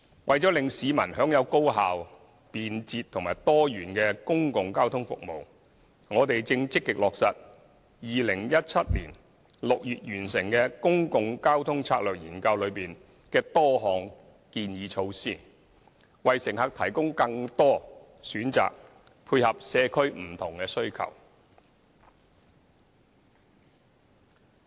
為了令市民享有高效、便捷和多元的公共交通服務，我們正積極落實2017年6月完成的《公共交通策略研究》內多項建議措施，為乘客提供更多選擇，配合社區不同需求。